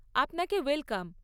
আপনাকে ওয়েলকাম।